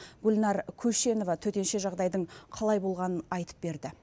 гүлнар көшенова төтенше жағдайдың қалай болғанын айтып берді